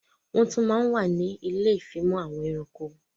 Wọn tún má ń wà ní ilé ìfimọ̀ àwọn ẹranko